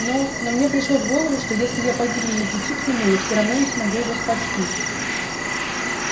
но но мне пришло в голову что если я погибну на пути к нему я все равно не смогу его спасти